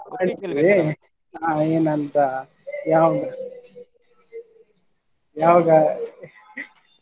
ಯಾವಾಗಾ ಯಾವಾಗ .